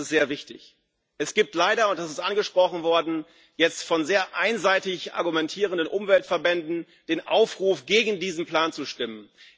Das ist sehr wichtig. Es gibt leider und das ist angesprochen worden jetzt von sehr einseitig argumentierenden Umweltverbänden den Aufruf, gegen diesen Plan zu stimmen.